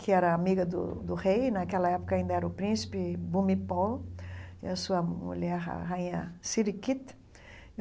que era amiga do do rei, e naquela época ainda era o príncipe, Bumipol, e a sua mulher, a rainha Siriquit.